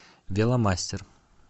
веломастер